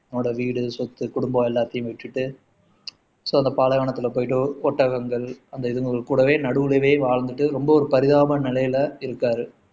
அவனோட வீடு, சொத்து, குடும்பம் எல்லாத்தையும் விட்டுட்டு ஷோ அந்த பாலைவனத்துல போயிட்டு ஒட்டகங்கள் அந்த இதுகளுக்கு கூடவே நடுலவே வாழ்ந்துட்டு ரொம்ப ஒரு பரிதாப நிலையில இருக்காரு